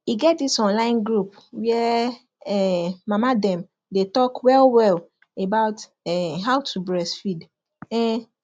e get this online group where um mama dem day talk well well about um how to breastfeed um